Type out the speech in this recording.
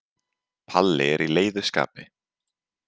Palli er í leiðu skapi.